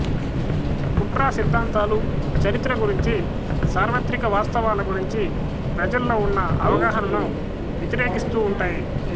కుట్ర సిద్ధాంతాలు చరిత్ర గురించి సార్వత్రిక వాస్తవాల గురించీ ప్రజల్లో ఉన్న అవగాహనను వ్యతిరేకిస్తూ ఉంటాయి